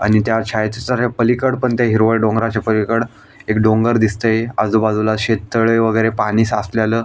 आणि त्या छायाचित्राच्या पालिकड पण ते हिरवळ डोंगराच्या पलिकड एक डोंगर दिसतय आजूबाजूला शेततळे वेगेरे पाणी साचलेल--